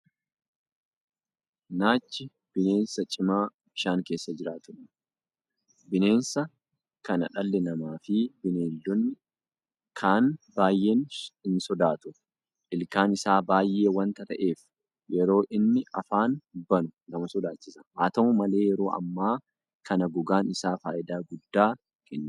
Naachi bineensa cimaa bishaan keessa jiraatuudha. Bineensa kana dhalli namaafi bineeldonni kaan baay'ee sodaatu. Ilkaan isaa baay'ee wanta ta'eef yeroo inni afaan banu nama sodaachisa. Haata'u malee yeroo ammaa kana gogaan isaa faayidaa guddaa kennaa jira.